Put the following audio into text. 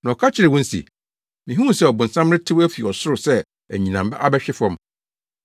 Na ɔka kyerɛɛ wɔn se, “Mihuu sɛ ɔbonsam retew afi ɔsoro sɛ anyinam abɛhwe fam.